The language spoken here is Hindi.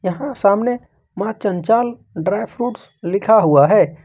यहां सामने मां चंचल ड्राई फ्रूट्स लिखा हुआ है।